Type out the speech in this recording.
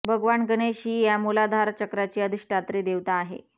भगवान गणेश ही या मूलाधार चक्राची अधिष्ठात्री देवता आहे